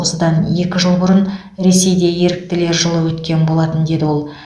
осыдан екі жыл бұрын ресейде еріктілер жылы өткен болатын деді ол